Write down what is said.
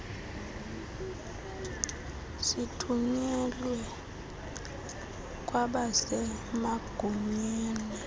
sithunyelwe kwabase magunyeni